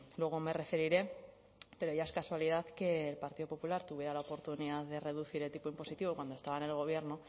luego me referiré pero ya es casualidad que el partido popular tuviera la oportunidad de reducir el tipo impositivo cuando estaban en el gobierno